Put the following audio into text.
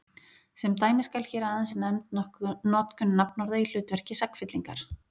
Sem dæmi skal hér aðeins nefnd notkun nafnorða í hlutverki sagnfyllingar.